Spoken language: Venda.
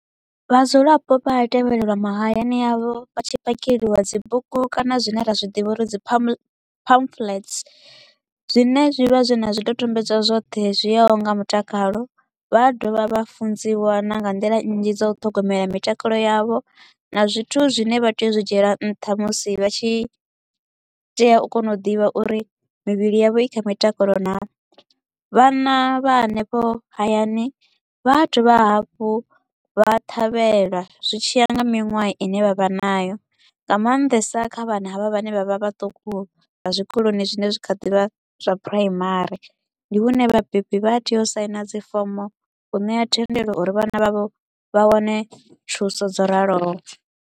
Vhadzulapo vha a tevhelelwa mahayani avho vha tshi phakeliwa dzibugu kana zwine ra zwi ḓivha uri dzi pamphlets zwine zwi vha zwi na zwidodombedzwa zwoṱhe zwi yaho nga mutakalo. Vha a dovha vha funziwa na nga nḓila nnzhi dza u ṱhogomela mitakalo yavho na zwithu zwine vha tea u zwi dzhiela nṱha musi vha tshi tea u kona u ḓivha uri mivhili yavho i kha mitakalo naa. Vhana vha hanefho hayani vha a dovha hafhu vha ṱhavhelwa zwi tshiya nga miṅwaha i ne vha vha nayo, nga maanḓesa kha vhana havha vhane vha vha vhaṱuku vha zwikoloni zwine zwa kha ḓivha zwa primary, ndi hune vhabebi vha tea u saina dzi fomo u ṋea thendelo uri vhana vhavho vha wane thuso dzo raloho.